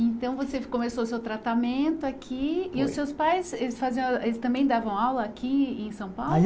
Então você começou o seu tratamento aqui e os seus pais eles faziam, eles também davam aula aqui em São Paulo?